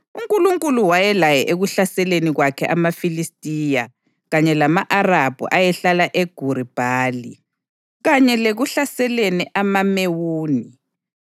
UNkulunkulu wayelaye ekuhlaseleni kwakhe amaFilistiya kanye lama-Arabhu ayehlala eGuri Bhali kanye lekuhlaseleni amaMewuni.